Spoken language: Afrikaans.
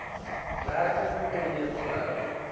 werking tree bly